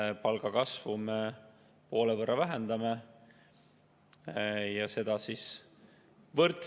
Nende palga kasvu me poole võrra vähendame, ja seda võrdselt.